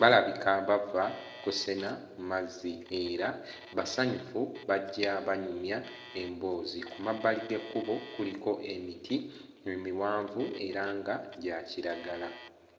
balabika bava kusena mazzi era basanyufu bajja banyumya emboozi, ku mabbali g'ekkubo kuliko emiti emiwanvu era nga gya kiragala.